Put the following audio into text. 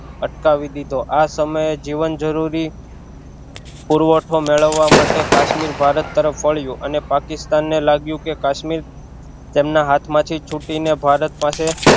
અટકાવી દીધો આ સમયે જીવન જરૂરી પુરવઠો મેળવા માટે કાશમીર ભારત તરફ વળ્યું અને પાકિસ્તાન ને લાગ્યું કે કાશ્મીર તેમના હાથ માંથી છુટ્ટી ને ભારત પાસે